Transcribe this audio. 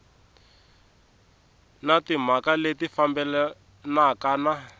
na timhaka leti fambelanaka na